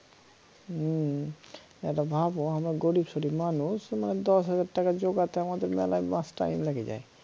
হম তাহলে ভাবো আমরা গরীব সরিব মানুষ দশ হাজার টাকার যোগাতে আমাদের মেলা মাস time লেগে যায়